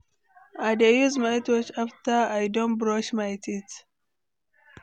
I dey use mouthwash after I don brush my teeth.